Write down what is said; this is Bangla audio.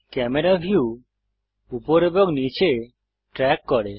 ক্যামেরা ভিউ উপর এবং নীচে ট্রেক করে